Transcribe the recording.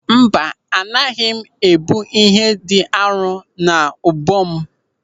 Mba, anaghị m ebu ihe dị arọ n'ubu m.